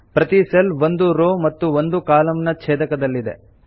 ಪ್ರತೀ ಸೆಲ್ ಒಂದು ರೋ ಮತ್ತು ಒಂದು ಕಾಲಂ ನ ಛೇದಕದಲ್ಲಿದೆ